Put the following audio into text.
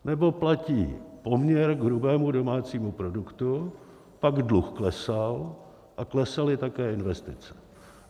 Nebo platí poměr k hrubému domácímu produktu, pak dluh klesal a klesaly také investice.